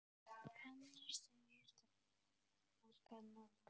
Fannar segir þetta alranga nálgun.